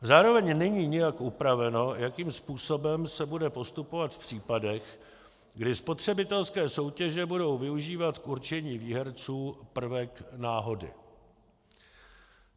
Zároveň není nijak upraveno, jakým způsobem se bude postupovat v případech, kdy spotřebitelské soutěže budou využívat k určení výherců prvek náhody.